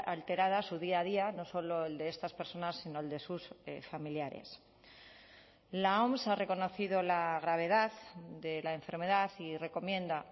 alterada su día a día no solo el de estas personas sino el de sus familiares la oms ha reconocido la gravedad de la enfermedad y recomienda